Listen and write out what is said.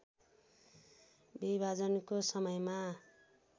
विभाजनको समयमा